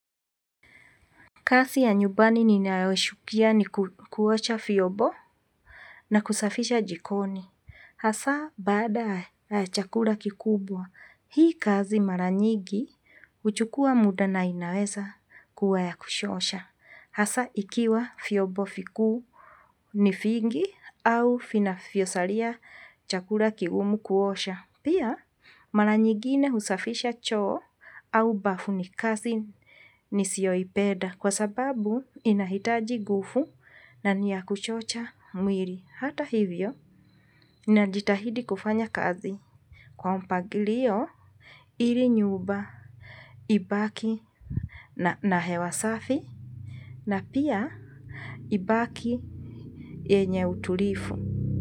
Kazi ya nyumbani ninayochukia ni kuosha vyombo na kusafisha jikoni. Hasa, bada chakula kikubwa, hii kazi mara nyingi huchukua muda na inaweza kuwa ya kuchosha. Hasa, ikiwa vyombo vikuu ni vingi au vinavyosalia chakula kigumu kuosha. Pia, mara nyigine usafisha choo au bafu ni kazi nisiyoipenda kwa sababu inahitaji nguvu na ni ya kuchosha mwili. Hata hivyo, najitahidi kufanya kazi. Kwa mpangilio, ili nyumba, ibaki na hewa safi na pia ibaki yenye utulivu.